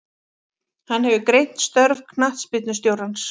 Hann hefur greint störf knattspyrnustjórans.